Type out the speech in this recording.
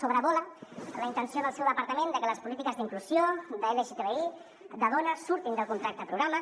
sobrevola la intenció del seu departament de que les polítiques d’inclusió d’lgtbi de dona surtin del contracte programa